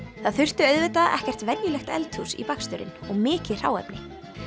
það þurfti auðvitað ekkert venjulegt eldhús í baksturinn og mikið hráefni